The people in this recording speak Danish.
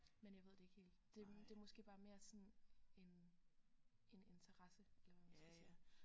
Men jeg ved det ikke helt det det er måske bare mere sådan en en interesse eller hvad man skal sige